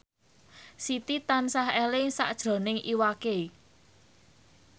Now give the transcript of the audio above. Siti tansah eling sakjroning Iwa K